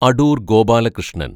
Adoor‍ Gopalakrishnan‍